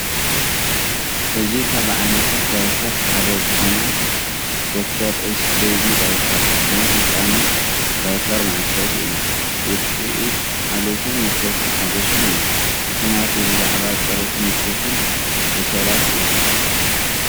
እዚ ካብ ዓይነታት ዳይፐርት ሓደ ዝኾነ "Dr.S BABY DIAPERS" ናይ ህጻናት ዳያፐር መዐሸጊ እዩ። ውጽኢት ሓልዮትን ምቾትን ሓጐስን እዩ፣ ምኽንያቱ ብዛዕባ ጽሬትን ምቾትን ዕሸላት እዩ።